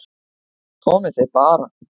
Komið þið bara